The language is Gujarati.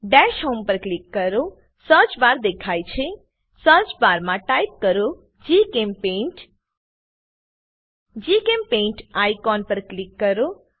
દશ હોમ પર ક્લિક કરો સર્ચ બાર દેખાય છે સર્ચ બાર માં ટાઈપ કરો જીચેમ્પેઇન્ટ જીચેમ્પેઇન્ટ આઇકોન પર ક્લિક કરો